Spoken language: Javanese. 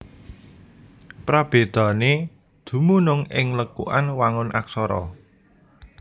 Prabédané dumunung ing lekukan wangun Aksara